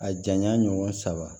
A janya ɲɔgɔn saba